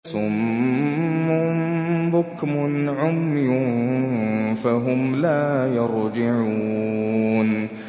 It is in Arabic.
صُمٌّ بُكْمٌ عُمْيٌ فَهُمْ لَا يَرْجِعُونَ